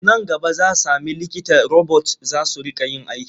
Nan gaba za sami likita robot za su riƙa yin aiki.